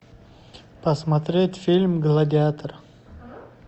посмотреть фильм гладиатор